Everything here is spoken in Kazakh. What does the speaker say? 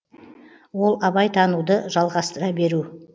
ол абай тануды жалғастыра беру